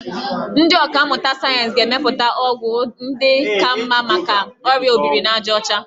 Ndị ọkàmmụta sayensị ga-emepụta ọgwụ ndị ka mma maka ọrịa obirinajaọcha.